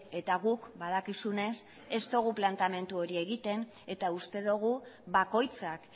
eta guk badakizunez ez dugu planteamendu hori egiten eta uste dugu bakoitzak